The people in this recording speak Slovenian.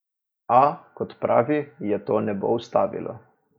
A, kot pravi, je to ne bo ustavilo.